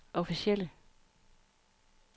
officielle